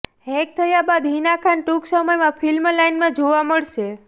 hack થયા બાદ હિના ખાન ટૂંક સમયમાં ફિલ્મ લાઇનમાં જોવા મળશે